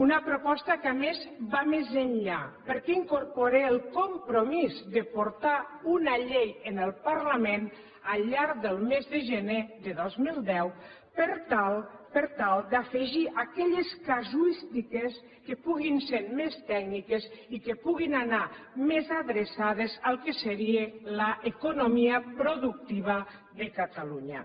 una proposta que a més va més enllà perquè incorpora el compromís de portar una llei al parlament al llarg del mes de gener de dos mil deu per tal per tal d’afegir aquelles casuístiques que puguin ser més tècniques i que puguin anar més adreçades al que seria l’economia productiva de catalunya